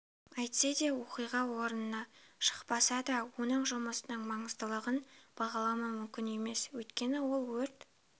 әйтсе де оқиға орнына шықпаса да оның жұмысының маңыздылығын бағаламау мүмкін емес өйткені ол өрт